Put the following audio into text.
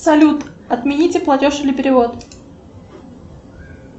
салют отмените платеж или перевод